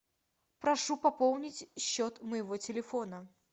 прошу пополнить счет моего телефона